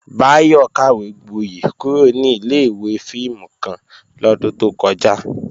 Báyọ̀ kàwégboyẹ̀ kúrò ní ilé-ìwé fíìmù kan lọ́dún tó kọjá